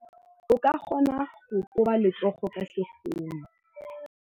O ka kgona go koba letsogo ka sekgono.